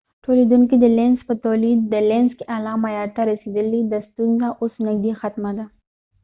دلینزlenz تولیدونکې د لینز په تولید کې اعلی معیار ته رسیدلی دي د ا ستونزه اوس نږدې ختمه ده